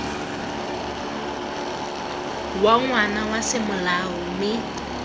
wa ngwana wa semolao mme